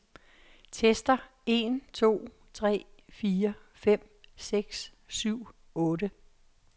Tester en to tre fire fem seks syv otte.